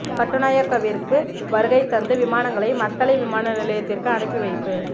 கட்டுநாயக்கவிற்கு வருகை தந்த விமானங்கள் மத்தளை விமான நிலையத்திற்கு அனுப்பி வைப்பு